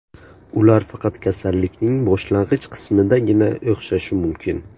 Ular faqat kasallikning boshlang‘ich qismidagina o‘xshashi mumkin.